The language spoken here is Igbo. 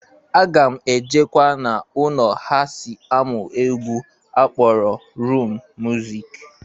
Aga m ejekwa na ụnọ ha si amụ egwu a kpọrọ rum muzik.